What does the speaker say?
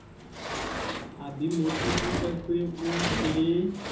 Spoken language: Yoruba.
àbí mo tún dúpẹ́ pé wọ́n ṣe é